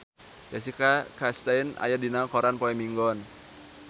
Jessica Chastain aya dina koran poe Minggon